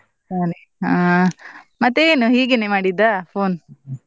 ಹಾ ಮತ್ತೆ ಏನು ಹೀಗೇನೇ ಮಾಡಿದ್ದ phone ?